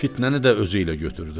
Fitnəni də özü ilə götürdü.